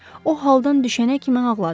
O haldan düşənə kimi ağladı.